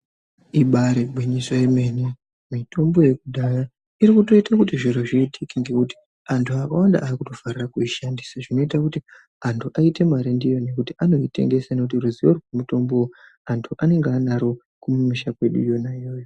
Ibaari gwinyiso yemene, mitombo yekudhaya, iri kutoite kuti zviro zviitike, ngekuti antu akawanda ari kutofarira kuishandisa, zvinoita kuti antu aite mare ndiyo ngekuti antu anoitengesa , ngekuti ruzivo rwemitombo antu anenge anaro kumisha kwedu, yona iyoyo .